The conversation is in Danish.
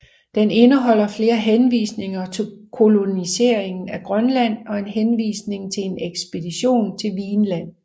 Den indeholder flere henvisninger til koloniseringen af Grønland og en henvisning til en ekspedition til Vinland